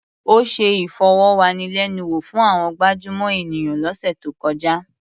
Ó ṣe ìfọ̀rọ̀wánilẹ́nuwò fún àwọn gabjúmọ̀ ènìyàn lọ́sẹ̀ tó kọjá.